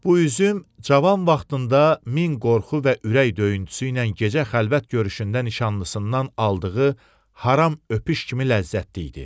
Bu üzüm cavan vaxtında min qorxu və ürək döyüntüsü ilə gecə xəlvət görüşündə nişanlısından aldığı haram öpüş kimi ləzzətli idi.